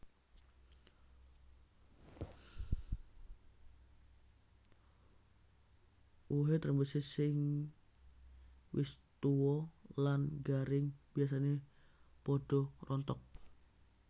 Wohé trembesi sing wis tua lan garing biasané padha rontok